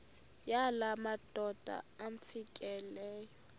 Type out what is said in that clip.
yala madoda amfikeleyo